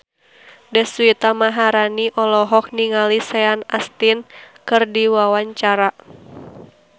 Deswita Maharani olohok ningali Sean Astin keur diwawancara